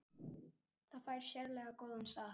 Það fær sérlega góðan stað.